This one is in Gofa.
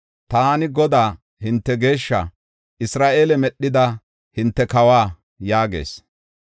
Taani Godaa, hinte Geeshshaa, Isra7eele medhida hinte Kawa” yaagees.